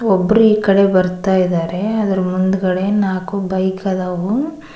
ಒಬ್ರು ಈ ಕಡೆ ಬರ್ತಾ ಇದ್ದಾರೆ ಅದರ ಮುಂದ್ಗಡೆ ನಾಲ್ಕು ಬೈಕ್ ಆದವು.